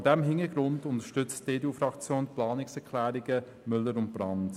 Vor diesem Hintergrund unterstützt die EDU-Fraktion die Planungserklärungen Müller und Brand.